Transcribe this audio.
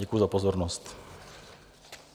Děkuji za pozornost.